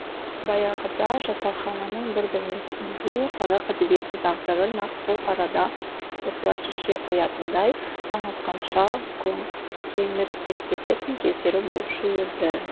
баяғыда жатақхананың бір бөлмесінде қазақ әдебиетінің тағдырын нақ сол арада осылар шеше қоятындай таң атқанша кеңірдектесетін кездері болушы еді